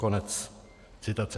Konec citace.